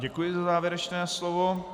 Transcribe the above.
Děkuji za závěrečné slovo.